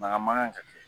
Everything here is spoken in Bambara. Baga man ka kɛ